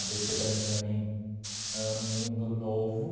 Á bê cê para mim também era um mundo novo.